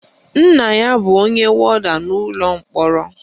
Nna ya bụ onye wọda n'ụlọ mkpọrọ